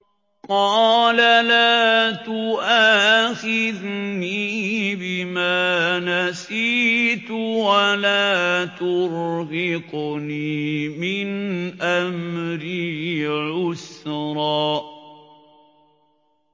قَالَ لَا تُؤَاخِذْنِي بِمَا نَسِيتُ وَلَا تُرْهِقْنِي مِنْ أَمْرِي عُسْرًا